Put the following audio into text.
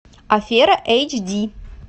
афера эйч ди